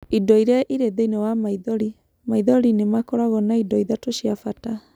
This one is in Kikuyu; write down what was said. Indo iria irĩ thĩĩni wa maithori :maithori nĩ makoragwo na indo ithatũ cia bata.